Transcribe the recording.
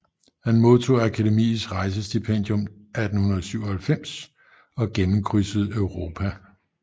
Han modtog Akademiets rejsestipendium 1897 og gennemkrydsede Europa